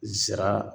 Zira